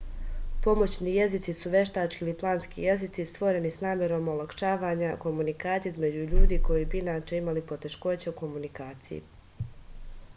pomoćni jezici su veštački ili planski jezici stvoreni s namerom olakšavanja komunikacije između ljudi koji bi inače imali poteškoća u komunikaciji